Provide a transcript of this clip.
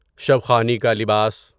شب خوانی کا لباس